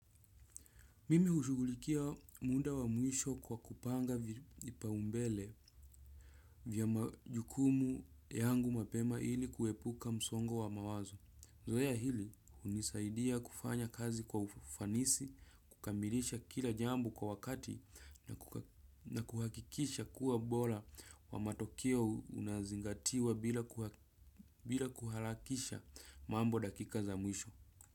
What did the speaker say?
Mimi hushugulikia muda wa mwisho kwa kupanga vipaumbele vya majukumu yangu mapema ili kuepuka msongo wa mawazo. Zoea hili hunisaidia kufanya kazi kwa ufanisi, kukamilisha kila jambo kwa wakati na kuhakikisha kuwa ubora wa matokeo unazingatiwa bila kuharakisha mambo dakika za mwisho.